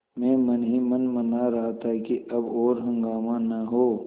मैं मन ही मन मना रहा था कि अब और हंगामा न हो